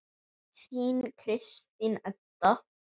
Þín Kristín Edda.